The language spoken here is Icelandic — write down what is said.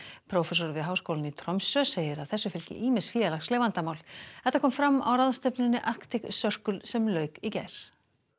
prófessor við háskólann í Tromsö segir að þessu fylgi ýmis félagsleg vandamál þetta kom fram á ráðstefnunni Arctic Circle sem lauk í gær